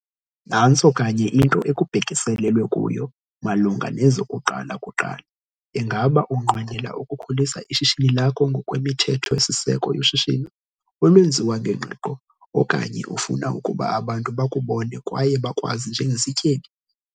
Nantso kanye into ekubhekiselelwe kuyo malunga nezokuqala kuqala - ingaba unqwenela ukukhulisa ishishini lakho ngokwemithetho-siseko yoshishino olwenziwa ngengqiqo, okanye ufuna ukuba abantu 'bakubone kwaye bakwazi njengesityebi'?